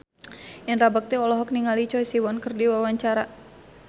Indra Bekti olohok ningali Choi Siwon keur diwawancara